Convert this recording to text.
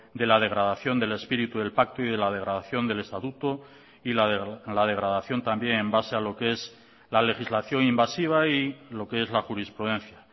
de la degradación del espíritu del pacto y de la degradación del estatuto y la degradación también en base a lo que es la legislación invasiva y lo qué es la jurisprudencia